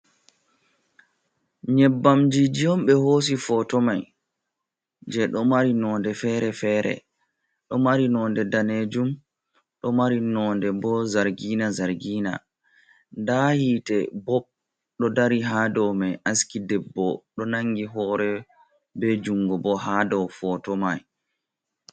Nyebbamjiji on ɓe hoosi foto mai je ɗo mari node feere-feere, ɗo mari nonde danejum, ɗo mari nonde bo zargina-zargina, nda hiite bob ɗo dari haa dow mai, haski debbo ɗo nangi hore be jungo bo ha dow poto mai.